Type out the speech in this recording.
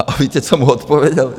A víte, co mu odpověděl?